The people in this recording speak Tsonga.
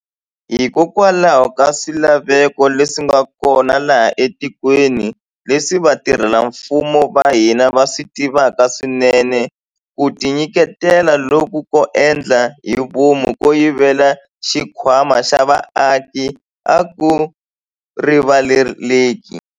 Hikokwalaho ka swilaveko leswi nga kona laha etikweni, leswi vatirhela mfumo va hina va swi tivaka swinene, ku tinyiketela loku ko endla hi vomu ko yivela xikhwama xa vaaki a ku rivaleleki.